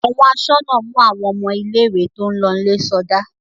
Àwọn aṣọ́nà mú àwọn ọmọ ilé-ìwé tó ń lọlé sọdá.